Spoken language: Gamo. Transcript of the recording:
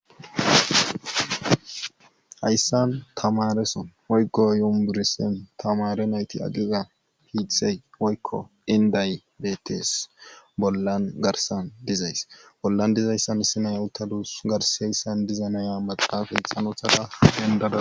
Hayssan tamareson woygo yumburisin tamare nayti agiza piithey woykko inday bettes bollan garsan dizays bollan dizayssan issinay utalus garseyssan diza naya maxaafay xanothada hendada.